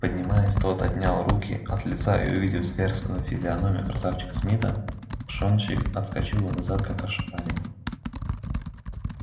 поднимаясь тот отнял руки от лица и увидев зверскую физиономию красавчика смита пшонщик отскочил назад как ошпаренный